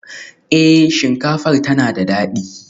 Eh, shinkafar tana da dadi